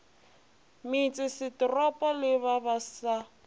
metsesetoropong le ba ba sa